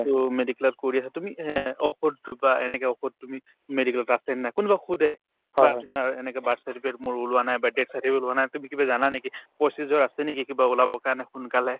to medical ত কৰি আছা তুমি হে অ ঔষধতো বা এনেকে ঔষধ তুমি medical ত আছেনে নাই কোনোবাই সোধে বা তোমাৰ এনেকা birth certificate মোৰ ওলোৱা নাই বা death certificate ওলোৱা নাই তুমি কিবা জানা নেকি procedure আছে নেকি কিবা ওলাবৰ কাৰণে সোনকালে